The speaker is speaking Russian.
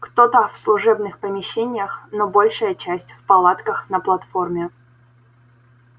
кто-то в служебных помещениях но большая часть в палатках на платформе